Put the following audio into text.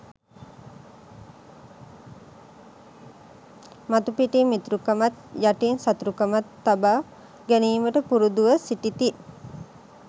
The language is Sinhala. මතුපිටින් මිතුරුකමත් යටින් සතුරුකමත් තබා ගැනීමට පුරුදුව සිටිති.